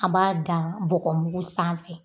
An b'a dan bɔgɔ mugu sanfɛ.